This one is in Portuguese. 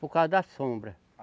Por causa da sombra.